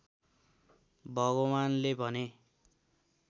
भगवान्‌ले भने